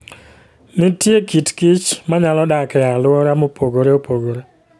Nitie kit kich ma nyalo dak e alwora mopogore opogore.